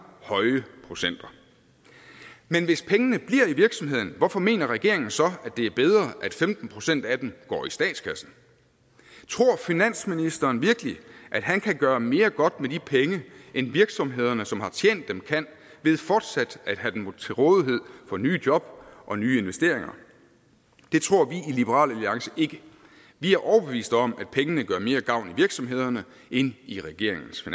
høje procenter men hvis pengene bliver i virksomheden hvorfor mener regeringen så at det er bedre at femten procent af dem går i statskassen tror finansministeren virkelig at han kan gøre mere godt med de penge end virksomhederne som har tjent dem kan ved fortsat at have dem til rådighed for nye job og nye investeringer det tror vi i liberal alliance ikke vi er overbeviste om at pengene gør mere gavn i virksomhederne end i regeringens